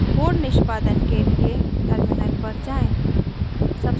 code निष्पादन के लिए टर्मिनल पर जाएँ